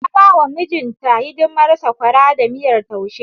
Ta ba wa mijinta hidimar sakwara da miyar taushe.